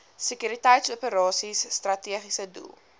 sekuriteitsoperasies strategiese doel